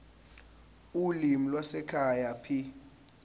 ulimi lwasekhaya p